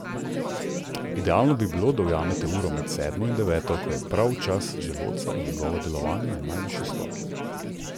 Idealno bi bilo, da ujamete uro med sedmo in deveto, ko je prav čas želodca in njegovo delovanje na najvišji stopnji.